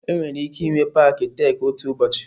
Enwere ike ịnwe paaki Tek otu ụbọchị.